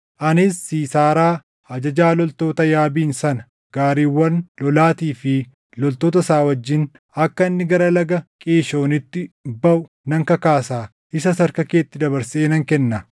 Anis Siisaaraa, ajajaa loltoota Yaabiin sana gaariiwwan lolaatii fi loltoota isaa wajjin akka inni gara Laga Qiishoonitti baʼu nan kakaasa; isas harka keetti dabarsee nan kenna.’ ”